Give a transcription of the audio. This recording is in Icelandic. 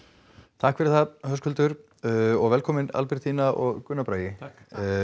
takk fyrir það Höskuldur og velkomin Albertína og Gunnar Bragi takk